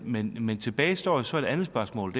men men tilbage står jo så et andet spørgsmål